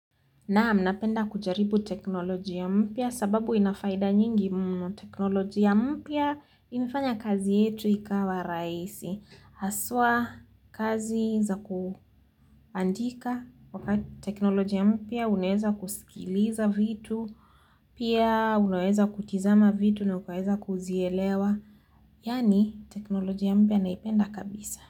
Naam, napenda kujaribu teknolojia mpya sababu ina faida nyingi mno. Teknolojia mpya imefanya kazi yetu ikawa rahisi. Haswa kazi za kuandika. Teknolojia mpya unaweza kusikiliza vitu. Pia unaweza kutizama vitu na ukaweza kuzielewa. Yani, teknoloji ya mpia naipenda kabisa.